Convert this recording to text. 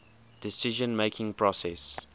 decision making process